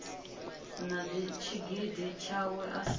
na tshigidi tshawe a si